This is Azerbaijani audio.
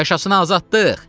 Yaşasın azadlıq!